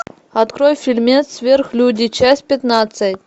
открой фильмец сверхлюди часть пятнадцать